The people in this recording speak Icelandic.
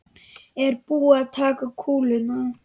Er búið að taka kúluna?